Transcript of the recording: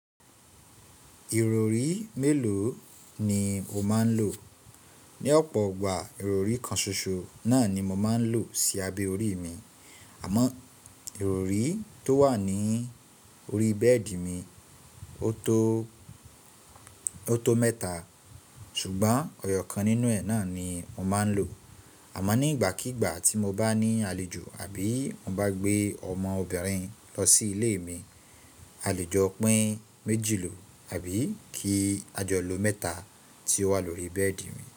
Ìrọrí mélòó ni o máa ń lò? Ni ọ̀pọ̀ igbà, ìrọrí kan ṣoṣo náà ni mo máa ń lò sí abẹ́ orí mi. Àmọ́ ìrọrí tó wà ní orí bẹ́ẹ̀dì mi, ó tó, ó tó mẹ́ta ṣùgbọ́n ọyọ́ kan nínú ẹ̀ náà ni mo máa ń lò. Àmọ́ nígbàkígbà tí mo bá ní àlejò àbí mo bá gbé ọmọ obìnrin lọ sí ilé mi, a lè jọ pín méjì lọ àbí kí a jọ lo mẹ́ta tí ó wà lórí bẹ́ẹ̀dì mi.